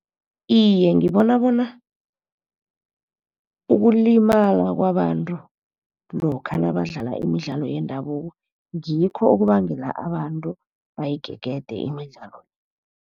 Iye, ngibona bona ukulimala kwabantu lokha nabadlala imidlalo yendabuko ngikho okubangela abantu bayigegede imidlalo.